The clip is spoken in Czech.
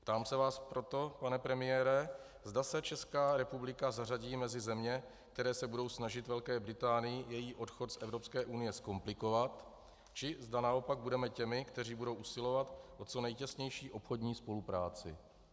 Ptám se vás proto, pane premiére, zda se Česká republika zařadí mezi země, které se budou snažit Velké Británii její odchod z Evropské unie zkomplikovat, či zda naopak budeme těmi, kteří budou usilovat o co nejtěsnější obchodní spolupráci.